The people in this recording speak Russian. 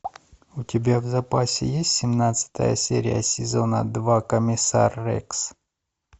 у тебя в запасе есть семнадцатая серия сезона два комиссар рекс